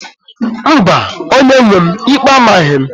Mba, onye-nwe m, ikpe amaghị m